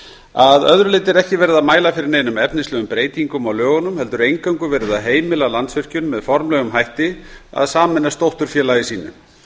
að öðru leyti er ekki verið að mæla fyrir neinum efnislegum breytingum á lögunum heldur eingöngu verið að heimila landsvirkjun með formlegum hætti að sameinast dótturfélagi sínu